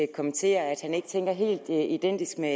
kommenterer at han ikke tænker helt identisk med